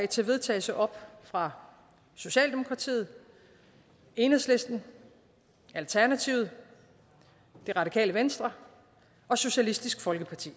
til vedtagelse op fra socialdemokratiet enhedslisten alternativet det radikale venstre og socialistisk folkeparti